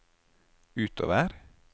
utover